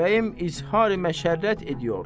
Bəyəm izhari məşərrət ediyor.